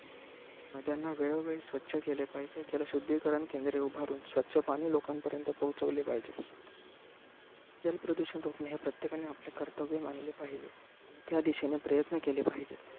नद्यांना वेळोवेळी स्वच्छ केले पाहिजे. जल शुद्धीकरण केंद्रे उभारुन स्वच्छ पाणी लोकांपर्यंत पोहोचविले पाहिजे. जल प्रदूषण रोखणे हे प्रत्येकाने आपले कर्तव्य मानले पाहिजे, त्यादिशेने प्रयत्न केले पाहिजे.